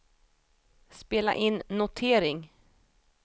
spela in notering